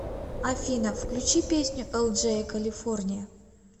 афина включи песню элджея калифорния